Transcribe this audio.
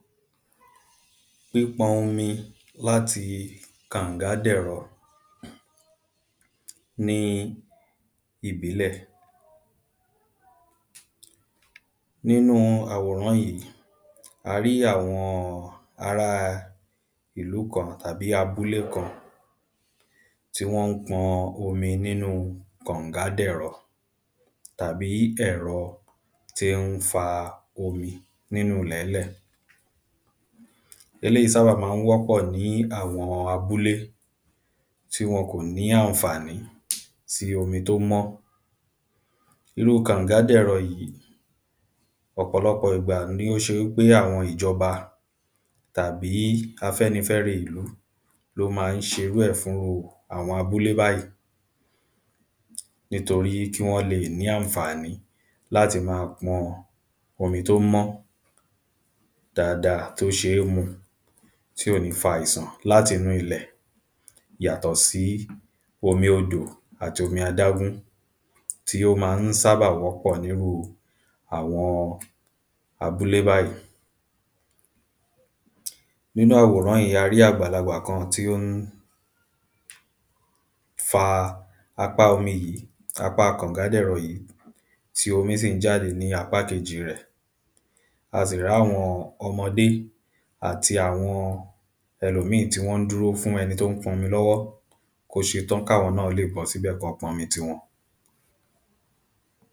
Pípọn omi láti kàngádẹ̀rọ ní ìbílẹ̀ Nínú àwòrán yìí a rí àwọn ará ìlú kan àbí abúlé kan Tí wọ́n ń pọn omi nínu kàngádẹ̀rọ tàbí ẹ̀rọ tí ń fa omi nínú ìlẹ̀ńlẹ̀ Eléyì sábà ma ń wọ́pọ̀ ní àwọn abúle tí wọ́n kò ní àǹfàní sí omi tí ó mọ́ Irú kàngádèrọ yìí ọ̀pọ̀lọpọ̀ ìgbà ni ó ṣe ń pé àwọn ìjọba tàbí afẹ́nifẹ́re ìlú ni ó ma ń ṣe irú ẹ̀ fún irú àwọn abúlé báyì Nítorí kí wọ́n lè ní àǹfàní láti ma pọn omi tí ó mọ́ dáadáa tí ó ṣeé mu tí ò ní fa àìsàn láti inú ilẹ̀ yàtọ̀ sí omi odò tàbí omi adágún tí ó ma ń sábà wọ́pọ̀ ní irú àwọn abúlé báyì Nínú àwòrán yìí a rí àgbàlagbà kan tí ó ń fa apá omi yìí apá kàngádẹ̀rọ yìí tí omi sì ń jáde ní apákejì rẹ̀